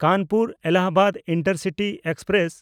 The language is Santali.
ᱠᱟᱱᱯᱩᱨ-ᱮᱞᱞᱟᱦᱟᱵᱟᱫ ᱤᱱᱴᱟᱨᱥᱤᱴᱤ ᱮᱠᱥᱯᱨᱮᱥ